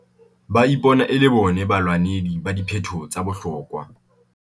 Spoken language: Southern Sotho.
Ba ipona e le bona balwanedi ba diphetoho tsa bohlokwa.